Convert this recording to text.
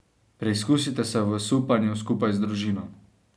Preizkusite se v supanju skupaj z družino.